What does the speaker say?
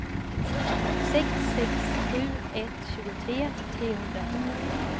sex sex sju ett tjugotre trehundrafyrtiotvå